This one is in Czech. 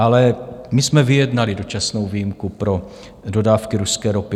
Ale my jsme vyjednali dočasnou výjimku pro dodávky ruské ropy.